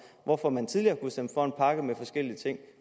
hvorfor man tidligere kunne stemme for en pakke med forskellige ting